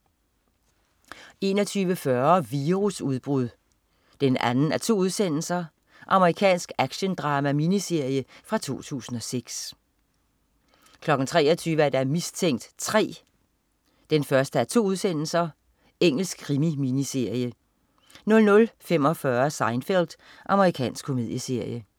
21.40 Virusudbrud 2:2. Amerikansk actiondrama-miniserie fra 2006 23.00 Mistænkt 3 1:2. Engelsk krimi-miniserie 00.45 Seinfeld. Amerikansk komedieserie